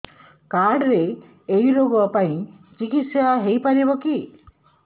card ରେ ଏଇ ରୋଗ ପାଇଁ ଚିକିତ୍ସା ହେଇପାରିବ କି